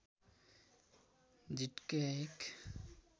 झिटकैया १